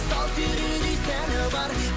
сал серідей сәні бар